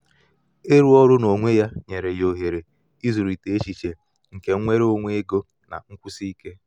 ịrụ ọrụ n'onwe ya nyere ya ohere ịzụlite echiche nke nnwere onwe ego na nkwụsi ike.